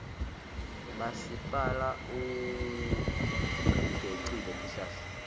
masipala utigecile tihlahla